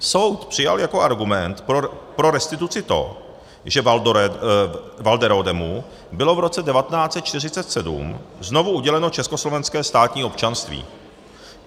Soud přijal jako argument pro restituci to, že Walderodemu bylo v roce 1947 znovu uděleno československé státní občanství.